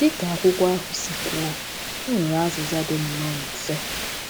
Dị ka akwụkwọ ahụ si kwuo, e nwere azịza dị nnọọ mfe.